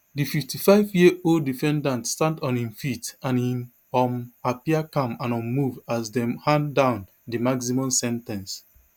di fifty-five year old defendant stand on hin feet and e um appear calm and unmoved as dem hand down di maximum sen ten ce